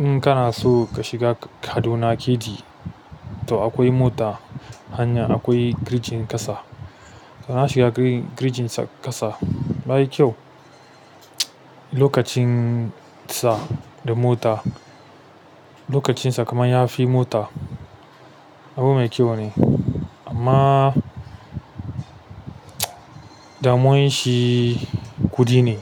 In kana so ka shiga Kaduna kd, to akwai mota hanya akwai girjin ƙasa. Na shiga girjin ƙasa, yayi kyau. Lokacin sa da mota, lokacin sa kamar yafi mota abu mai kyau ne. Amma damuwan shi kuɗi ne.